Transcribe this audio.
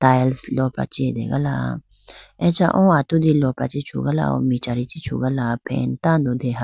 Tiles lopra chi ategala acha o atudi lopra chi chugala michari chi chugala fan tando deha.